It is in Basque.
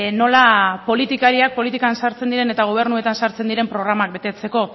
nola politikariak politikan sartzen diren eta gobernuetan sartzen diren programak betetzeko